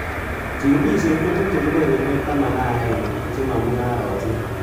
Chigilisiet kotuche kebeberwek taman ak agenge chemo mungarosiek.